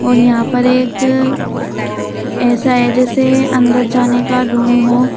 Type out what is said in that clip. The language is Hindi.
और यहां पर एक ऐसा है जैसे अंदर जाने का रूम हो।